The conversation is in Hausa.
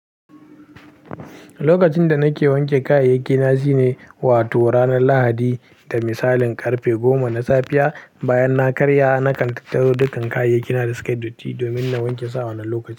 Lokacin da nake wanke kayayyaki na shi ne, wato ranar Lahadi da misalin karfe goma na safiya. Bayan na karya, na kataro dukan kayayyaki na da suke datti domin na wanke su a wannan lokaci.